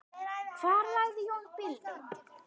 Hvar lagði Jón bílnum?